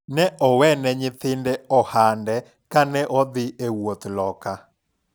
ne owene nyithinde ohande kane odhi e wuodh loka